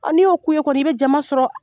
N'i y'o k'u ye kɔni, i bɛ jama sɔrɔ.